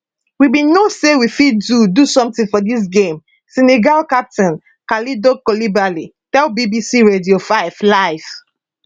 we bin know say we fit do do something for dis game senegal captain kalidou koulibaly tell bbc radio 5 live